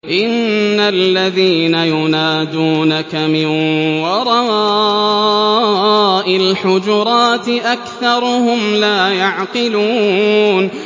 إِنَّ الَّذِينَ يُنَادُونَكَ مِن وَرَاءِ الْحُجُرَاتِ أَكْثَرُهُمْ لَا يَعْقِلُونَ